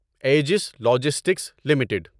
ages Logistics limited